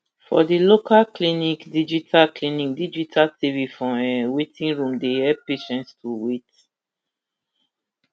for di local clinic digital clinic digital tv for um waiting room dey help patients to wait